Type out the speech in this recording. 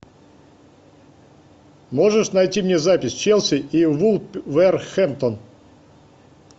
можешь найти мне запись челси и вулверхэмптон